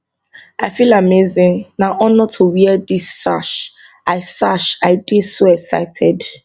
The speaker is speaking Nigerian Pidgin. i feel amazing na honour to wear dis sash i sash i dey so excited